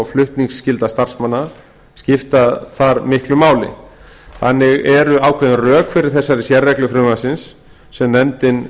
flutningsskylda starfsmanna skipta þar miklu máli ákveðin rök eru því fyrir þessari sérreglu frumvarpsins sem nefndin